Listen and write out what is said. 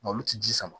Malo tɛ ji sama